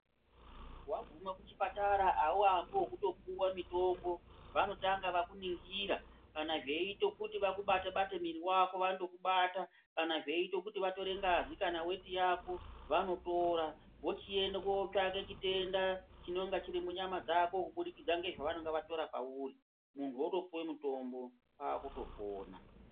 Waguma kuchipatara hauambi wokutopuwa mitombo. Vanotanga vakuningira kana zveiite kuti vakubate-bate mwiiri wako, vanotokubata. Kana zveiite kuti vatore ngazi yako kana weti yako vanotora vochienda kuotsvake chitenda chinonga chiri munyama dzako kubudukidza nezvavanenga vatora pauri, munhu otopuwe mutombo, kwaakutopona.